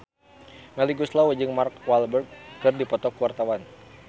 Melly Goeslaw jeung Mark Walberg keur dipoto ku wartawan